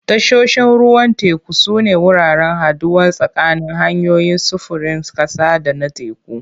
Tashoshin ruwan teku sune wuraren haɗuwa tsakanin hanyoyin sufurin ƙasa da na teku.